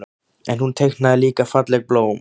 En hún teiknaði líka falleg blóm.